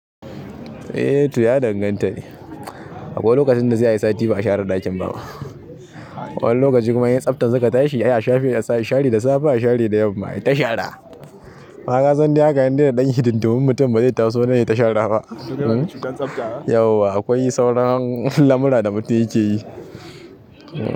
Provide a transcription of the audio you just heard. Eh to ya danganta ne. Akwai lokacin da sai ayi sati ba a share ɗakin ba ma. Wani lokaci kuma in ƴan tsaftan suka tashi yay, sai ashafe, a share da safe, a share da yamma, ayi ta shara. Amman kasan dai haka in dai da dan hidindumin mutum ba zai ta so nan yata shara ba. Yau akwai sauran lamura da mutum yake yi.